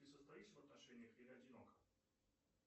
ты состоишь в отношениях или одинока